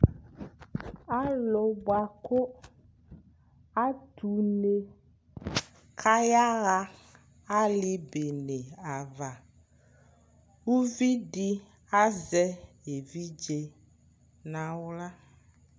Alʊ bʊakʊ atʊ une ayaɣa alɩbene ava ʊvɩdɩ azɛ evidze nʊ aɣla